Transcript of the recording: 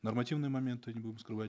нормативные моменты не будем скрывать